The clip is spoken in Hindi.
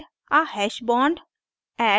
add a hash bond